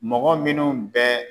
Mɔgɔ minnu bɛ